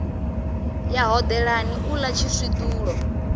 ya hodelani u ḽa tshiswiṱulo